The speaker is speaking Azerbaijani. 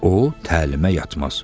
O təlimə yatmaz.